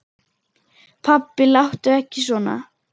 Pabbi láttu ekki svona.